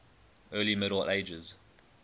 early middle ages